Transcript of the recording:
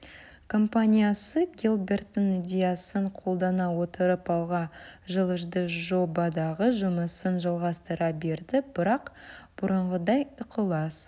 компаниясы гилберттің идеясын қолдана отырып алға жылжыды жобадағы жұмысын жалғастыра берді бірақ бұрынғыдай ықылас